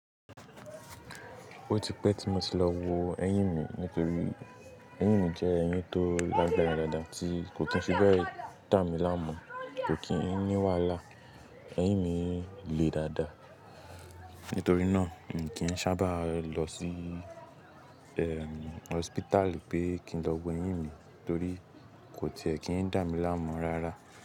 Ó ti pẹ́ tí mo ti lọ wo ẹyín mi nítorí eyín mi jẹ́ eyín tó lágbára dáadáa tí kò kii n fi bẹ́ẹ̀ dà mí láàmú, kò kí n ní wàhálà. Ẹyín mi le dáadáa. Nítorí náà, mi kì í n ṣábà lọ sí, ẹm, hospital pé kí n lọ wo eyín mi torí kò ti ẹ kí ń dà mí láàmú rárá.